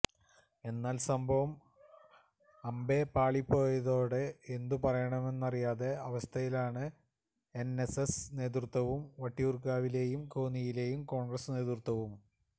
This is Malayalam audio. എന്നാല് സംഭവം അമ്പേ പാളിപ്പോയതോടെ എന്തു പറയണമെന്നറിയാത്ത അവസ്ഥയിലാണ് എന്എസ്എസ് നേതൃത്വവും വട്ടിയൂര്കാവിലെയും കോന്നിയിലെയും കോണ്ഗ്രസ് നേതൃത്വവും